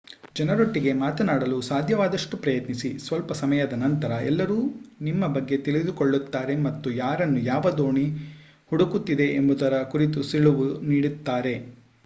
ಜನರೊಟ್ಟಿಗೆ ಮಾತನಾಡಲು ಸಾಧ್ಯವಾದಷ್ಟು ಪ್ರಯತ್ನಿಸಿ ಸ್ವಲ್ಪ ಸಮಯದ ನಂತರ ಎಲ್ಲರೂ ನಿಮ್ಮ ಬಗ್ಗೆ ತಿಳಿದುಕೊಳ್ಳುತ್ತಾರೆ ಮತ್ತು ಯಾರನ್ನು ಯಾವ ದೋಣಿ ಹುಡುಕುತ್ತಿದೆ ಎಂಬುದರ ಕುರಿತು ಸುಳಿವು ನೀಡುತ್ತಾರೆ